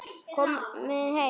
Kom heim!